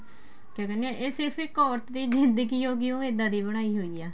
ਕਿਆ ਕਹਿਨੇ ਏ ਇਹ ਸਿਰਫ ਇੱਕ ਔਰਤ ਦੀ ਜਿੰਦਗੀ ਹੋ ਗਈ ਉਹ ਇੱਦਾਂ ਦੀ ਬਣਾਈ ਹੋਈ ਏ